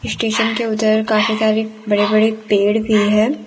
Station के उधर काफी सारे बड़े बड़े पेड़ भी है।